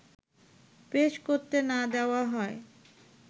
পেশ করতে না দেওয়া হয়